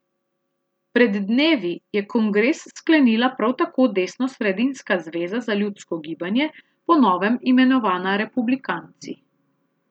Pred dnevi je kongres sklenila prav tako desnosredinska Zveza za ljudsko gibanje, po novem imenovana Republikanci.